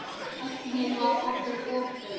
Þögnin var orðin of löng.